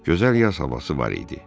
Gözəl yaz havası var idi.